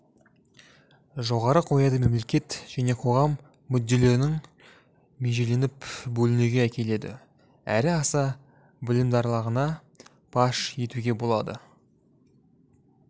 жоғары қояды мемлекет және қоғам мүдделерінің межеленіп бөлінуіне әкеледі әрі аса білімдарлығына паш етуге болады